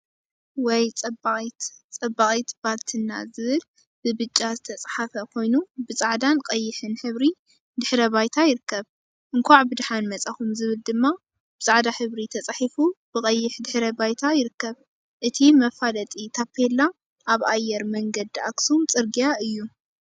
ወይ ፀባቂት! ፀባቂት ባልትና ዝብል ብብጫ ዝተፀሓፈ ኮይኑ ብፃዕዳን ቀይሕን ሕብሪ ድሕረ ባይታ ይርከብ፡፡ እንኳዕ ብደሓን መፃኹም ዝብል ድማ ብፃዕዳ ሕብሪ ተፃሒፉ ብቀይሕ ድሕረ ባይታ ይርከብ፡፡ እዚ መፋለጢ ታፔላ አብ አየር መንገድ አክሱም ፅርግያ እዩ፡፡